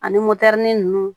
Ani motɛri nunnu